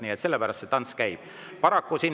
Nii et sellepärast see tants käib.